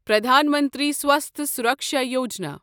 Pradhan Mantri Swasthya Suraksha Yojana